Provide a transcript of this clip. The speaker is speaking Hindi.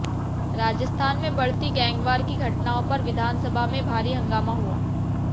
राजस्थान में बढ़ती गैंगवार की घटनाओं पर विधानसभा में भारी हंगामा हुआ